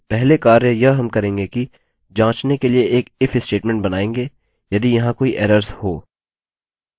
पहले कार्य यह हम करेंगे कि जाँचने के लिए एक if स्टेटमेंट बनायेंगे यदि यहाँ कोई एरर्स हों